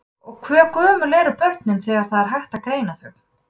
Og hve gömul eru börn þegar það er hægt að greina þau?